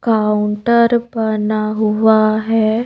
Counter बना हुआ है.